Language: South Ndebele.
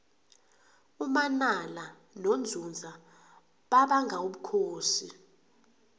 umanala nonzunza babanga ubukhosi